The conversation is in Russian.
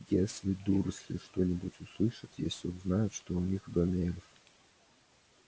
если дурсли что-нибудь услышат если узнают что у них в доме эльф